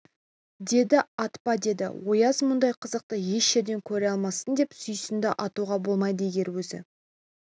деді атпа деді ояз мұндай қызықты еш жерден көре алмассың деп сүйсінді атуға болмайды егер өзі